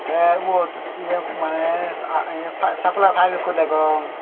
tey ubot se ye maneh aa ye sapalai pipe ekko degong.